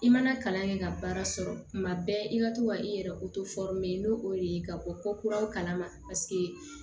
I mana kalan kɛ ka baara sɔrɔ tuma bɛɛ i ka to ka i yɛrɛ n'o de ye ka bɔ ko kuraw kala ma